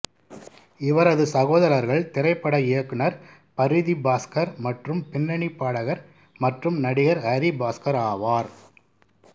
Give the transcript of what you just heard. இவரது சகோதரர்கள் திரைப்பட இயக்குனர் பரிதி பாஸ்கர் மற்றும் பின்னணிப் பாடகர் மற்றும் நடிகர் ஹரி பாஸ்கர் ஆவார்